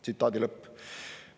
" Tsitaadi lõpp.